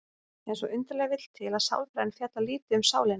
En svo undarlega vill til að sálfræðin fjallar lítið um sálina.